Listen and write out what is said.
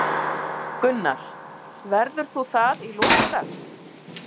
Gunnar: Verður þú það í lok dags?